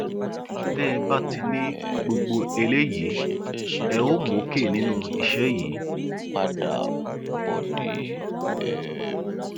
tẹ ẹ bá ti ní gbogbo eléyìí ẹ óò mókè nínú iṣẹ yìí